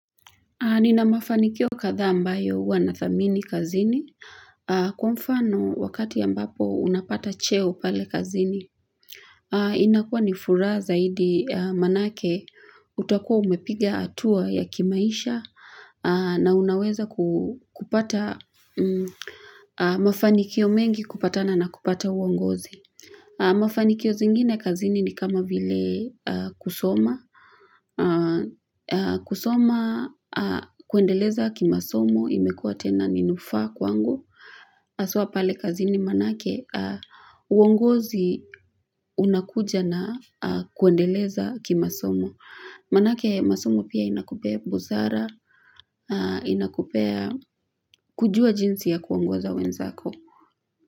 Nina mafanikio kadhaa ambayo wanathamini kazini. Kwa mfano wakati ambapo unapata cheo pale kazini; inakua ni furaha zaidi maanake utakua umepiga hatua ya kimaisha na unaweza ku kupata mafanikio mengi kupatana na kupata uongozi. Mafanikio zingine kazini ni kama vile kusoma. Kusoma kuendeleza kimasomo imekuwa tena ni nufaa kwangu haswa pale kazini maanake uongozi unakuja na kuendeleza kimasomo Maanake masomo pia inakupea busara inakupea kujua jinsi ya kuongoza wenzako.